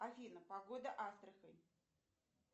афина погода астрахань